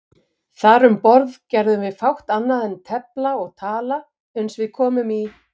Þar um borð gerðum við fátt annað en tefla og tala uns við komum í